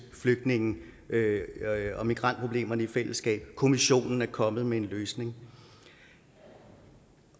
flygtninge og migrantproblemerne i fællesskab kommissionen er kommet med en løsning